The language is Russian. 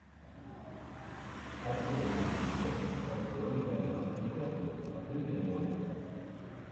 открой мне фильмец с актером леонардо ди каприо открытое море